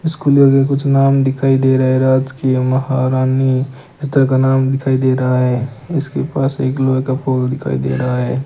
इस खुले हुए कुछ नाम दिखाई दे रहा है राज की महारानी इस तरह का नाम दिखाई दे रहा है इसके पास एक लोहे का पोल दिखाई दे रहा है।